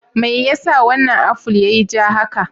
Me yasa wannan aful yiyi ja haka?